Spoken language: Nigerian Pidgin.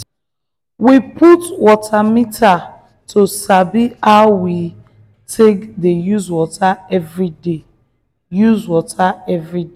we put water meter to sabi how we take dey use water everyday. use water everyday.